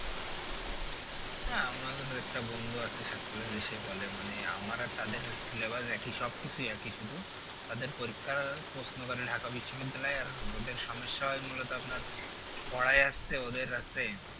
হ্যাঁ আমাদেরও একটা বন্ধু আছে সাত college এ সে বলে মানে আমার আর তাদের syllabus একই সব কিছুই একই শুধু তাদের পরিক্ষার প্রশ্ন করে ঢাকা বিশ্ব বিদ্যালয় আর ওদের সমস্যা হয় মূলত আপনার পড়ায় আছে ওদের আছে